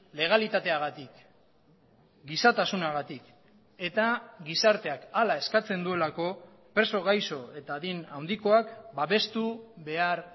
legalitateagatik gizatasunagatik eta gizarteak hala eskatzen duelako preso gaixo eta adin handikoak babestu behar